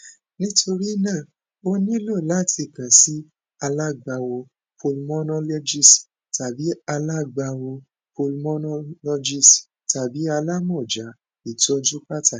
nitorina o nilo lati kan si alagbawo pulmonologist tabi alagbawo pulmonologist tabi alamọja itọju pataki